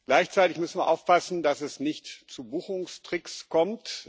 Gleichzeitig müssen wir aufpassen, dass es nicht zu Buchungstricks kommt.